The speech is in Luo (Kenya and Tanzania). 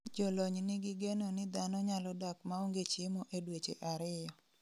Jolony nigi geno ni dhano nyalo dak maonge chiemo e dweche ariyo